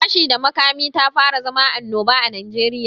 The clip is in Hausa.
Fashi da makami tafara zama anoba a Najeriya.